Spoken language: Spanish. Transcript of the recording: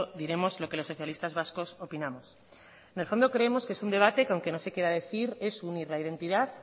diremos lo que los socialistas vascos opinamos en el fondo creemos que es un debate que aunque no se quiera decir es unir identidad